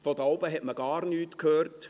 Von dort oben hat man gar nichts gehört.